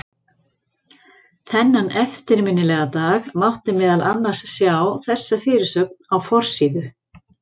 Þennan eftirminnilega dag mátti meðal annars sjá þessa fyrirsögn á forsíðu